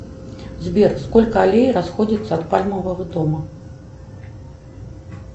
сбер сколько аллей расходуется от пальмового дома